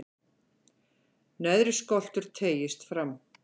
neðri skoltur teygist fram